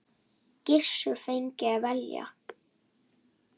Gissur fengi að velja.